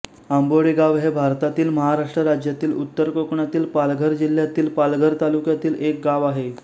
आंबोडेगाव हे भारतातील महाराष्ट्र राज्यातील उत्तर कोकणातील पालघर जिल्ह्यातील पालघर तालुक्यातील एक गाव आहे